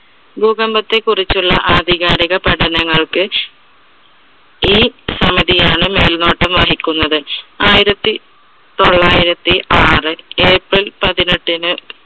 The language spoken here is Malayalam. ഭൂകമ്പത്തെ കുറിച്ചുള്ള ആധികാരിക പഠനങ്ങൾക്ക് ഈ സമിതി ആണ് മേൽനോട്ടം വഹിക്കുന്നത്. ആയിരത്തി തൊള്ളായിരത്തി ആറ് april പതിനെട്ടിന്